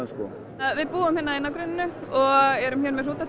við búum hérna í nágrenninu og erum hérna með hrúta til